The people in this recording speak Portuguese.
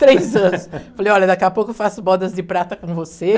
três anos. Falei, olha, daqui a pouco eu faço bodas de prata com você.